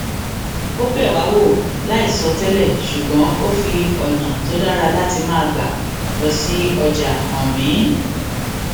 ó bẹ wá wò láìsọ tẹlẹ ṣùgbón ó fi ònà tó dára láti máa gbà lọ sí ọjà hàn mí